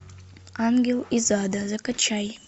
ангел из ада закачай